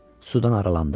Sudan aralandı.